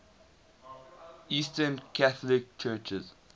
eastern catholic churches